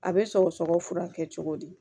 A bɛ sɔgɔsɔgɔ furakɛ cogo di